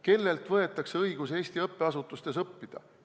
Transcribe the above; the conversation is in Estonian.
Kellelt võetakse õigus Eesti õppeasutustes õppida?